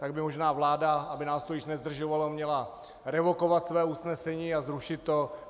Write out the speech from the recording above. Tak by možná vláda, aby nás to již nezdržovalo, měla revokovat své usnesení a zrušit to.